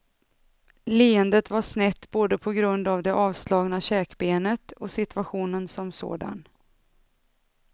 Leendet var snett både på grund av det avslagna käkbenet och situationen som sådan.